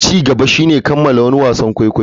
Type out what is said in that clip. Ci gaba shine kammala wani wasan kwaikwayo.